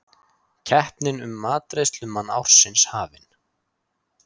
Keppnin um matreiðslumann ársins hafin